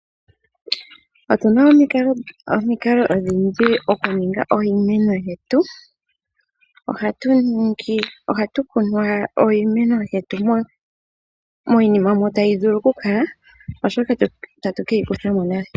Otuna omikalo odhindji okuninga iimeno yetu . Ohatu kunu iimeno yetu miinima mbyoka tayi vuli okukala etatu keyi kuthamo nale.